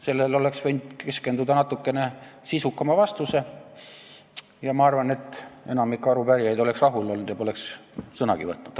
Sellele oleks võinud keskendada natukene sisukama vastuse ja ma arvan, et enamik arupärijaid oleks olnud rahul ja poleks sõnagi võtnud.